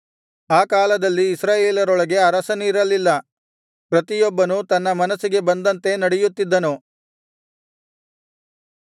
ಆ ಕಾಲದಲ್ಲಿ ಇಸ್ರಾಯೇಲರೊಳಗೆ ಅರಸನಿರಲಿಲ್ಲ ಪ್ರತಿಯೊಬ್ಬನೂ ತನ್ನ ಮನಸ್ಸಿಗೆ ಬಂದಂತೆ ನಡೆಯುತ್ತಿದ್ದನು